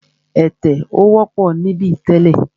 Ẹ̀tẹ̀ ò wọ́pọ̀ níbí tẹ́lẹ̀.